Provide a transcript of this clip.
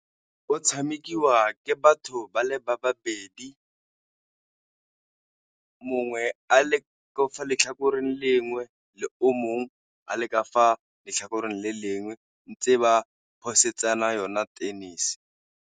O tshamekiwa ke batho ba le ba babedi mongwe a le ka fa letlhakoreng le lengwe le o mongwe a le ka fa letlhakoreng le lengwe, ntse ba yona tennis.